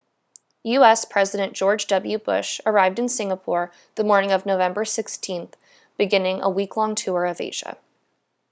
u.s. president george w bush arrived in singapore the morning of november 16 beginning a week-long tour of asia